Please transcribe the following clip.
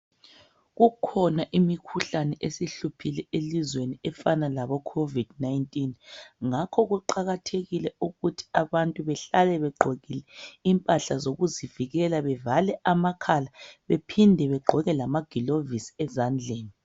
Kukhona imikhuhlane esihluphile elizweni efana laboCovid 19 ngakho kuqakathekile ukuthi abantu behlale begqokile impahla zokuzivikela bevale amakhala bephinde begqoke lamagilovisi ezandleni.